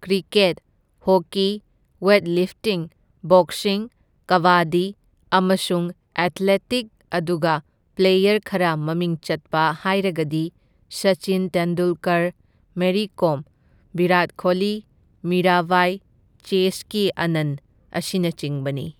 Cricket, hockey, weight lifting, boxing, kabaddi ꯑꯃꯁꯨꯡ athletic ꯑꯗꯨꯒ player ꯈꯔ ꯃꯃꯤꯡ ꯆꯠꯄ ꯍꯥꯏꯔꯒꯗꯤ ꯁꯆꯤꯟ ꯇꯦꯟꯗꯨꯜꯀꯔ, ꯃꯦꯔꯤ ꯀꯣꯝ, ꯕꯤꯔꯥꯠ ꯈꯣꯂꯤ, ꯃꯤꯔꯥ ꯕꯥꯏ, ꯆꯦꯁꯀꯤ ꯑꯥꯅꯟ, ꯑꯁꯤꯅꯆꯤꯡꯕꯅꯤ꯫